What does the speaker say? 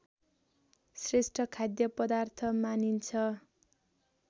श्रेष्ठ खाद्य पदार्थ मानिन्छ